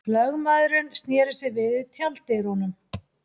Lögmaðurinn sneri sér við í tjalddyrunum.